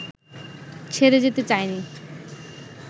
ছেড়ে যেতে চায়নি